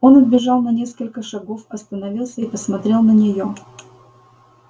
он отбежал на несколько шагов остановился и посмотрел на неё